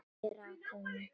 Ég rakaði mig.